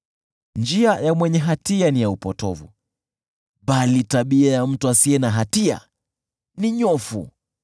Njia ya mwenye hatia ni ya upotovu, bali tabia ya mtu asiye na hatia ni nyofu.